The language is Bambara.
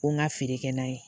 Ko n ka feere kɛ n'a ye